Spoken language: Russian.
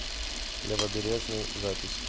левобережный запись